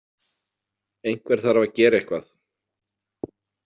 Einhver þarf að gera eitthvað.